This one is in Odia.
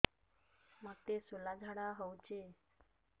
ମୋତେ ଶୂଳା ଝାଡ଼ା ହଉଚି